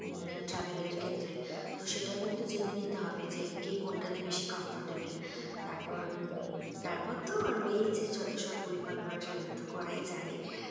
উম travel এর ক্ষেত্রে। তো সেটাও কিন্তু জেনে নিতে হবে যে, কে কোনটাতে বেশি comfortable তারপর উম তারপর তো রয়েইছে যতসব পরিকল্পনা। সেগুলো তো করাই যাবে।